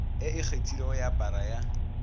e ikgethilego ya para ya